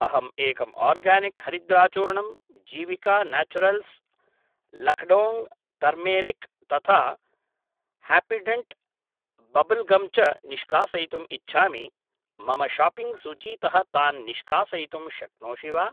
अहं एकं आर्गानिक् हरिद्राचूर्णम्, जीविका नाचुरल्स् लकडोङ्ग् तर्मेरिक् तथा हाप्पिडेण्ट् बब्ब्ल् गम् च निष्कासयितुम् इच्छामि, मम शाप्पिङ्ग् सूचीतः तान् निष्कासयितुं शक्नोषि वा